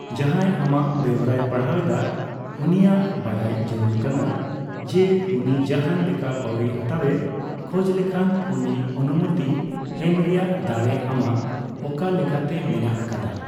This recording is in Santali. ᱡᱟᱦᱟᱸᱭ ᱟᱢᱟᱜ ᱵᱮᱣᱨᱟᱭ ᱯᱟᱲᱦᱟᱣ ᱮᱫᱟ ᱩᱱᱤᱭᱟᱜ ᱵᱟᱰᱟᱭ ᱡᱟᱹᱨᱩᱲ ᱠᱟᱱᱟ ᱡᱮ ᱩᱱᱤ ᱡᱟᱦᱟᱸ ᱞᱮᱠᱟᱱ ᱯᱟᱹᱣᱲᱤ ᱦᱟᱛᱟᱣᱮ ᱠᱷᱚᱡᱽ ᱞᱮᱠᱷᱟᱱ ᱩᱱᱤ ᱚᱱᱩᱢᱚᱛᱤ ᱮᱢ ᱨᱮᱭᱟᱜ ᱫᱟᱲᱮ ᱟᱢᱟᱜ ᱚᱠᱟ ᱞᱮᱠᱟᱛᱮ ᱢᱮᱱᱟᱜ ᱟᱠᱟᱫᱟ ᱾